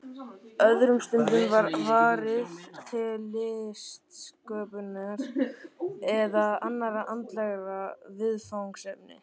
Öðrum stundum var varið til listsköpunar eða annarra andlegra viðfangsefna.